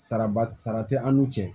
Saraba sara tɛ an n'u cɛ